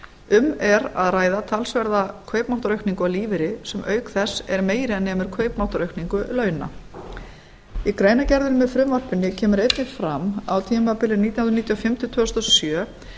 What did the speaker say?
um er að ræða talsverða kaupmáttaraukningu á lífeyri sem auk þess er meira en nemur kaupmáttaraukningu launa í greinargerðinni með frumvarpinu kemur einnig fram á tímabili nítján hundruð níutíu og fimm til tvö þúsund og sjö